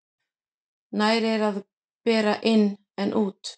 Nær er að bera inn en út.